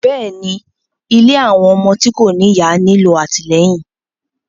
Bẹ́ẹ̀ni, ìlé awọn ọmọ ti ko ni iya nilo atilẹyin